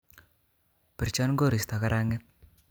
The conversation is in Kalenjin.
Birchon koristo kara'nget